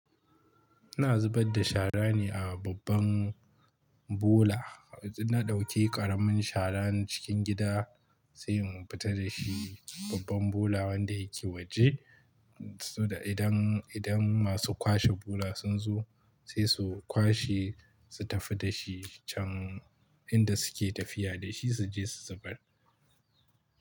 Ina zubar da shara ne a babban bola. Na ɗauke ƙaramin sharar cikin gida sai in futa da shi babban bola wanda yake waje. Saboda idan, idan masu kwashe bola sun zo sai su kwashe, su tafi da shi can inda suke tafiya da shi su je su zubar.